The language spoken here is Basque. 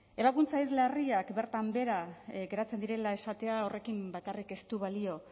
ebakuntza ez larriak bertan behera geratzen direla esatea horrekin bakarrik ez du balio